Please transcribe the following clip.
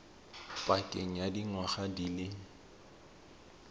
pakeng ya dingwaga di le